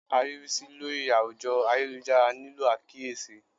Ariwisi lori awujo ayelujara nilo akiyesi